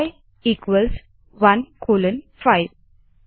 आई 15 चलिए colon operator की मदद से वेक्टर बनाते है